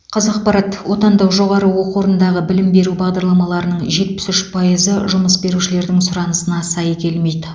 қазақпарат отандық жоғары оқу орындағы білім беру бағдарламаларының жетпіс үш пайызы жұмыс берушілердің сұранысына сай келмейді